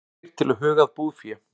Hvattir til að huga að búfé